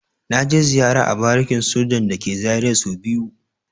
Na je ziyara a barikin sojan da ke Zaria so biyu.